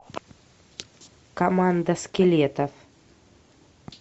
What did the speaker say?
команда скелетов